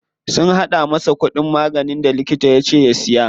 Sun haɗa masa kuɗin maganin da likita yace ya siya.